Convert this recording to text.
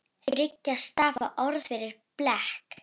Þriggja stafa orð fyrir blek?